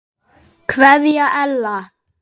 Kveðja Ella.